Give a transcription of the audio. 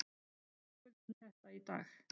Við verðskulduðum þetta í dag.